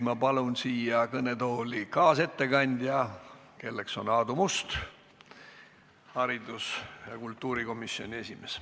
Ma palun siia kõnetooli kaasettekandja, kelleks on Aadu Must, kultuurikomisjoni esimees.